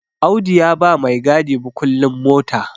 Audu ya ba maigadi mukullin mota